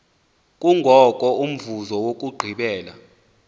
kungoko umvuzo wokugqibela